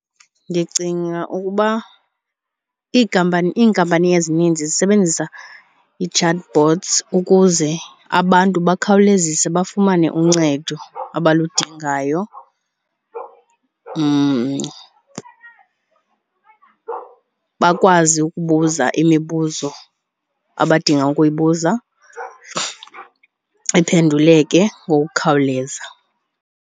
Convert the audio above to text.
Ndicinga ukuba iikampani, iinkampani ezininzi zisebenzisa ii-chat bots ukuze abantu bukhawuleziswe bafumane uncedo abaludingayo. Bakwazi ukubuza imibuzo abadinga ukuyibuza iphenduleke ngokukhawuleza.